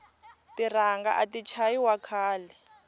tiranga ati chayi wa khale